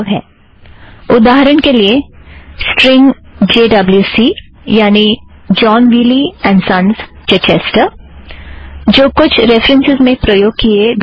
उदाहरण के लिए स्ट्रींग जे डबल्यु सी यानि John Wiley and sons limited Chichester John Wiley and sons Chichester - जो कुछ रेफ़रन्सस् में प्रयोग किए गए हैं